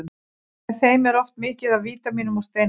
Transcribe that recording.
Með þeim er oft mikið af vítamínum og steinefnum.